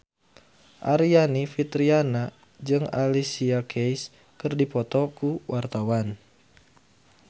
Aryani Fitriana jeung Alicia Keys keur dipoto ku wartawan